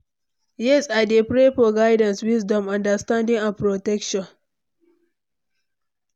Yes, i dey pray for guidance, wisdom, understanding and protection.